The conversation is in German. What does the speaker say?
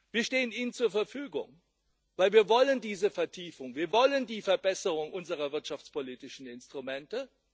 Wir stehen Ihnen zur Verfügung, weil wir diese Vertiefung wollen. Wir wollen die Verbesserung unserer wirtschaftspolitischen Instrumente.